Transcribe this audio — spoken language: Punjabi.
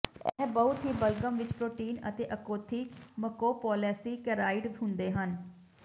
ਇਹ ਬਹੁਤ ਹੀ ਬਲਗ਼ਮ ਵਿੱਚ ਪ੍ਰੋਟੀਨ ਅਤੇ ਅਖੌਤੀ ਮਕੋਪੋਲੇਸੀਕੇਰਾਇਡ ਹੁੰਦੇ ਹਨ